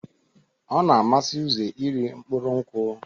Ọna amasi uze iri mkpụrụ nkwụ.